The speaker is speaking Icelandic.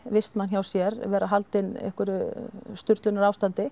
vistmann hjá sér vera haldinn einhverju